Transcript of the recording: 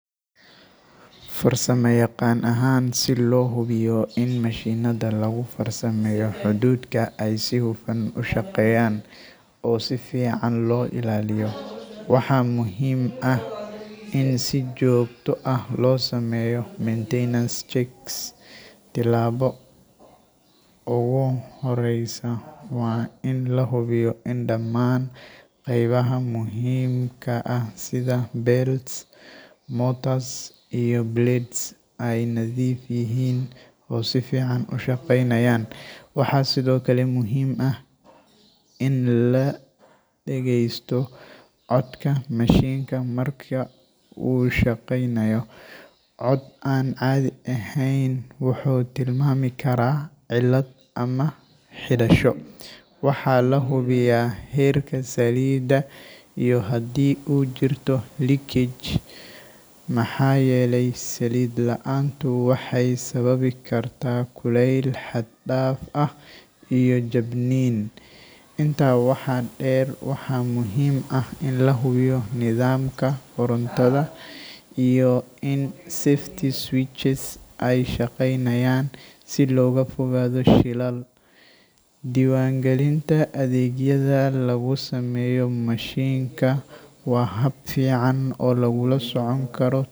Farsamayaqaan ahaan, si loo hubiyo in mashiinnada lagu farsameeyo hadhuudhka ay si hufan u shaqeeyaan oo si fiican loo ilaaliyo, waxaa muhiim ah in si joogto ah loo sameeyo maintenance checks. Tallaabada ugu horreysa waa in la hubiyo in dhammaan qaybaha muhiimka ah sida belts, motors, iyo blades ay nadiif yihiin oo si fiican u shaqeynayaan. Waxaa sidoo kale muhiim ah in la dhegeysto codka mashiinka marka uu shaqeynayo – cod aan caadi ahayn wuxuu tilmaami karaa cilad ama xidhasho. Waxaa la hubiyaa heerka saliidda iyo haddii uu jirto leakage, maxaa yeelay saliid la’aantu waxay sababi kartaa kulayl xad dhaaf ah iyo jabniin. Intaa waxaa dheer, waxaa muhiim ah in la hubiyo nidaamka korontada iyo in safety switches ay shaqeynayaan si looga fogaado shilal. Diiwaan galinta adeegyada lagu sameeyo mashiinka waa hab fiican oo lagula socon karo.